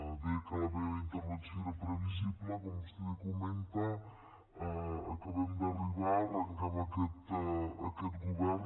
deia que la meva intervenció era previsible com vostè comenta acabem d’arribar arrenquem aquest govern